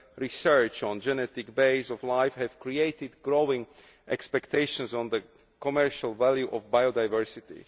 research on the genetic base of life have created growing expectations vis vis the commercial value of biodiversity.